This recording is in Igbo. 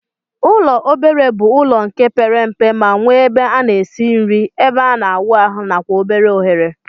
Ụlọ obere bu ụlọ nke pere mpe ma nwe ebe ana esi nri, ebe ana awụ ahu nakwa obere ohere.